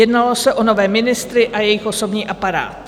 Jednalo se o nové ministry a jejich osobní aparát.